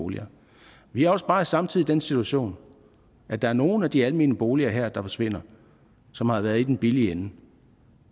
boliger vi er også bare samtidig i den situation at der er nogle af de almene boliger der forsvinder som har været i den billige ende